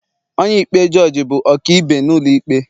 onye-ikpe jugee bụ ọkaibe n'ulo ikpe